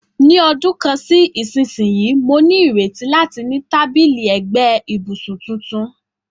Ní ọdún kan sí ìsinsìnyí, mo ní ìrètí láti ní tábìlì ẹ̀gbẹ́ ibùsùn tuntun.